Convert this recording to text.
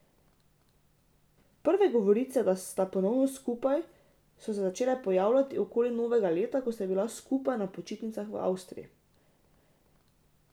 Prve govorice, da sta ponovno skupaj, so se začele pojavljati okoli novega leta, ko sta bila skupaj na počitnicah v Avstraliji.